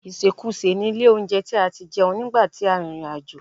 Ìsèkusè ni ilé-olóunjẹ tí a ti jẹun nígbà tí a rìnrìn àjò